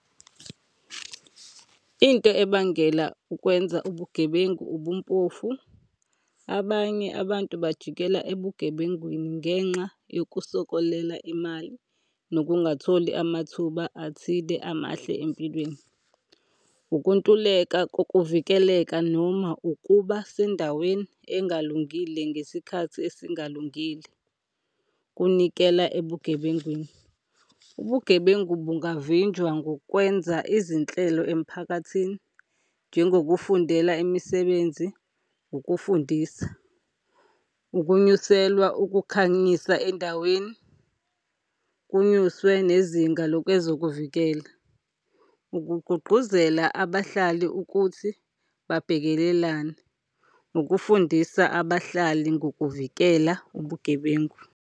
Into ebangela ukwenza ubugebengu ubumpofu, abanye abantu bajikela ebugebengwini ngenxa yokusokolela imali nokungatholi amathuba athile amahle empilweni. Ukuntuleka kokuvikeleka noma ukuba sendaweni engalungile ngesikhathi esingalungile kunikela ebugebengwini. Ubugebengu bungavinjwa ngokwenza izinhlelo emphakathini njengokufundela imisebenzi, ukufundisa, ukunyuselwa ukukhanyisa endaweni, kunyuswe nezinga lokwezokuvikela, ukugqugquzela abahlali ukuthi babhekelelane, ukufundisa abahlali ngokuvikela ubugebengu.